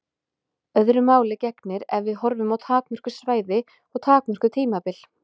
Öðru máli gegnir ef við horfum á takmörkuð svæði og takmörkuð tímabil.